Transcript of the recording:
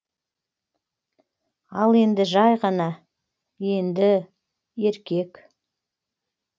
ал енді жай ғана енді еркек